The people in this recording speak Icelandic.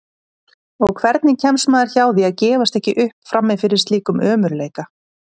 Og hvernig kemst maður hjá því að gefast ekki upp frammi fyrir slíkum ömurleika?